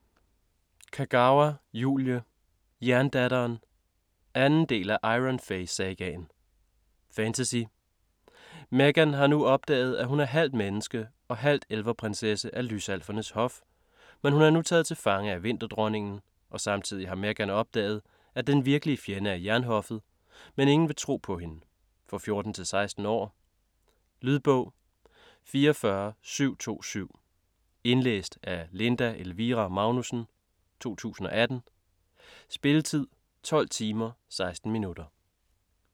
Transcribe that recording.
Kagawa, Julie: Jerndatteren 2. del af Iron Fey sagaen. Fantasy. Meghan har nu opdaget, at hun er halvt menneske og halvt elverprinsesse af lysalfernes hof, men hun er nu taget til fange af Vinterdronningen og samtidig har Meghan opdaget at den virkelige fjende er Jernhoffet, men ingen vil tro på hende. For 14-16 år. Lydbog 44727 Indlæst af Linda Elvira Magnussen, 2018. Spilletid: 12 timer, 16 minutter.